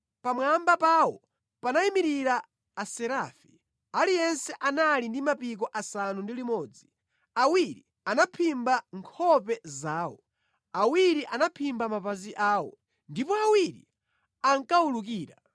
Pamwamba pawo panayimirira Aserafi, aliyense anali ndi mapiko asanu ndi limodzi: awiri anaphimba nkhope zawo, awiri anaphimba mapazi awo, ndipo awiri ankawulukira.